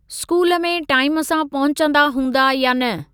School में time सां पहुचंदा हूंदा या न।